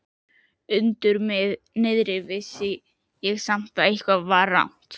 Undir niðri vissi ég samt að eitthvað var rangt.